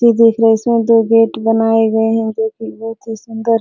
जो देख रहे है इसमें दो गेट बनाए गए हैं जो की बहुत ही सुंदर।